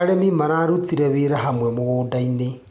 Arĩmi mararutire wĩra hamwe mũgundainĩ.